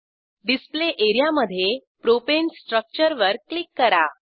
display area मधे propane स्ट्रक्चरवर click करा